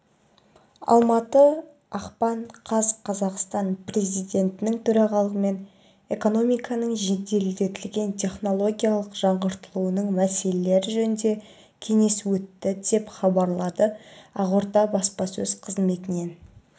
алматы ақпан қаз қазақстан президентінің төрағалығымен экономиканың жеделдетілген технологиялық жаңғыртылуының мәселелері жөніндегі кеңес өтті деп хабарлады ақорда баспасөз қызметінен